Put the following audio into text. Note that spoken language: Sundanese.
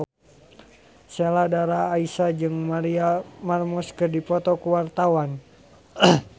Sheila Dara Aisha jeung Maria Menounos keur dipoto ku wartawan